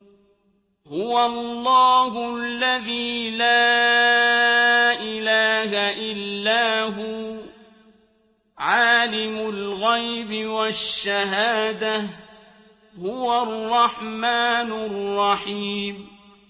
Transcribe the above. هُوَ اللَّهُ الَّذِي لَا إِلَٰهَ إِلَّا هُوَ ۖ عَالِمُ الْغَيْبِ وَالشَّهَادَةِ ۖ هُوَ الرَّحْمَٰنُ الرَّحِيمُ